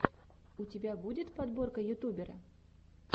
у тебя будет подборка ютубера